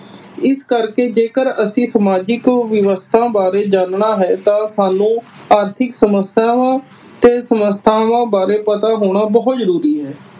ਇਸ ਕਰਕੇ ਜੇਕਰ ਅਸੀਂ ਸਮਾਜਿਕ ਵਿਵਸਥਾ ਬਾਰੇ ਜਾਨਣਾ ਹੈ ਤਾਂ ਸਾਨੂੰ ਆਰਥਿਕ ਸਮੱਸਿਆਵਾਂ ਤੇ ਸੰਸਥਾਵਾਂ ਬਾਰੇ ਪਤਾ ਹੋਣਾ ਬਹੁਤ ਜਰੂਰੀ ਹੈ।